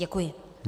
Děkuji.